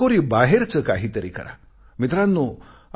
चाकोरीबाहेरचे काहीतरी करा मित्रांनो